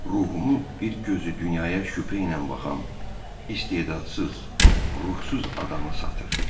Ruhumu bir gözü dünyaya şübhə ilə baxan, istedadsız, ruhsuz adama satır.